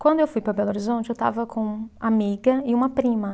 Quando eu fui para Belo Horizonte, eu estava com amiga e uma prima.